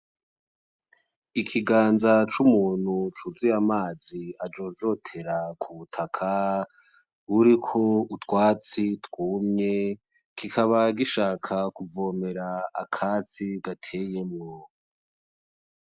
Ikiganza c'umuntu cuzuye amazi ajojotera ku butaka buriko utwatsi twumye kikaba gishaka kuvomera akatsi gateyemwo.